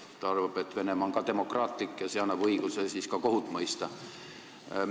Ta arvab, et Venemaa on demokraatlik riik ja see annab õiguse ka kohut mõista.